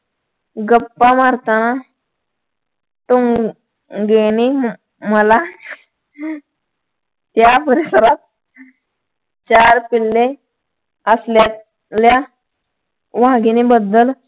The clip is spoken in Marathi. गप्पा मारताना टोंगेंनी मला या परिसरात चार पिल्ले असल्याचे वाघिणीबद्दल